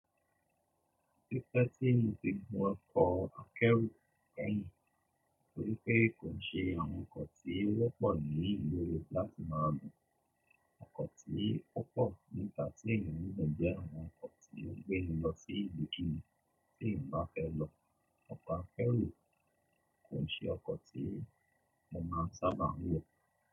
Tipẹ́ tí mo ti gun ọkọ̀ ọ akẹ́rù kẹ́yìn torípé kò ń ṣe àwọn ọkọ̀ tí ó wọ́pọ̀ ní ìlú mi láti máa gún. Ọkọ̀ tí ó pọ̀ níta tí èèyàn ń gún jẹ́ àwọn ọkọ̀ tí ó ń gbé ni lọ sí ìlúkílúú tí èèyàn bá fẹ́ lọ. Ọkọ̀ akẹ́rù kò ń ṣe ọkọ̀ tí mo máa ń sábà ń wọ̀